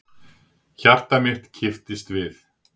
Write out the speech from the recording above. Hjarta mitt kipptist við.